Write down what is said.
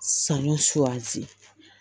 Sanu suganti